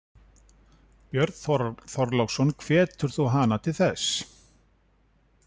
Björn Þorláksson: Hvetur þú hana til þess?